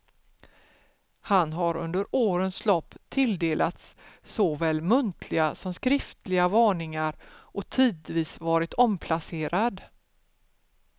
Han har under årens lopp tilldelats såväl muntliga som skriftliga varningar och tidvis varit omplacerad.